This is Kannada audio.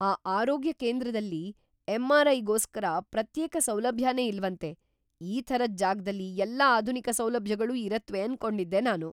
ಆ ಆರೋಗ್ಯ ಕೇಂದ್ರದಲ್ಲಿ ಎಂ.ಆರ್‌.ಐ.ಗೋಸ್ಕರ ಪ್ರತ್ಯೇಕ ಸೌಲಭ್ಯನೇ ಇಲ್ವಂತೆ! ಈ ಥರದ್ ಜಾಗದಲ್ಲಿ ಎಲ್ಲಾ ಆಧುನಿಕ ಸೌಲಭ್ಯಗಳೂ ಇರತ್ವೆ ಅನ್ಕೊಂಡಿದ್ದೆ ನಾನು.